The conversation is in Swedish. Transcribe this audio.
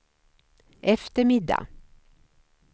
eftermiddag